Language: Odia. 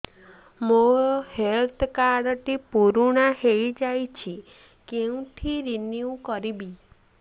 ମୋ ହେଲ୍ଥ କାର୍ଡ ଟି ପୁରୁଣା ହେଇଯାଇଛି କେଉଁଠି ରିନିଉ କରିବି